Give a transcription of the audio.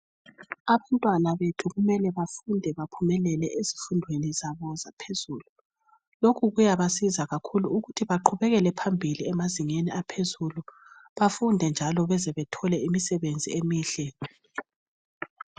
Abantwana bethu kumela bafunde baphumelele ezifundweni zabo zaphezulu lokhu kuyabasiza kakhulu ukuthi baqhubekele phambili emazingeni aphezulu bafunde njalo baze bathole imisebenzi emihle.